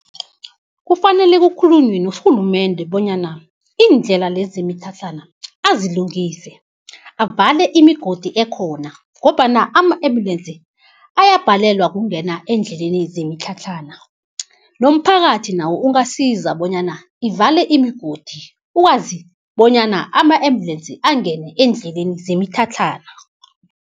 Kufanele kukhulunywe norhulumende bonyana iindlela lezi zemitlhatlhana azilungise, avale imigodi ekhona ngombana ama-embulensi ayabhalelwa kungena endleleni zemitlhatlhana. Nomphakathi nawo ungasiza bonyana ivale imigodi ukwazi bonyana ama-embulensi angene endleleni zemitlhatlhana.